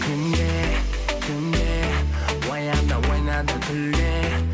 күнде түнде оян да ойна да күл де